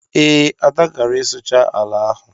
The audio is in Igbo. Ee, Ada gara ịsụcha ala ahụ